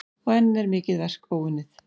Og enn er mikið verk óunnið.